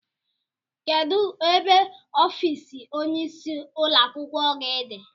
Kedụ ebe ọffici ọnye ịsị ụlọakwụkwọ gị dị?